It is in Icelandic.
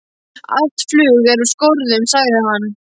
Allt flug er úr skorðum, sagði hann.